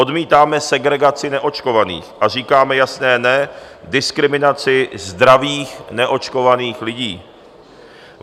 Odmítáme segregaci neočkovaných a říkáme jasné ne diskriminaci zdravých neočkovaných lidí.